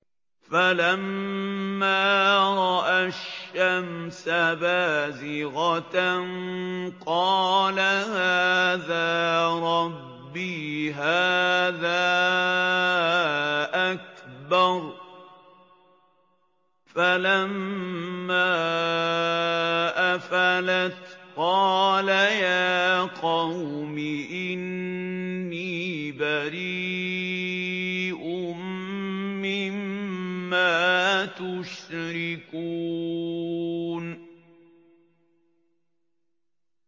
فَلَمَّا رَأَى الشَّمْسَ بَازِغَةً قَالَ هَٰذَا رَبِّي هَٰذَا أَكْبَرُ ۖ فَلَمَّا أَفَلَتْ قَالَ يَا قَوْمِ إِنِّي بَرِيءٌ مِّمَّا تُشْرِكُونَ